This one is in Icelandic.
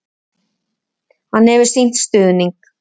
Hann hefur sýnt stuðning.